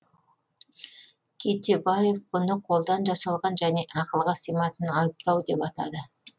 кетебаев бұны қолдан жасалған және ақылға сыймайтын айыптау деп атады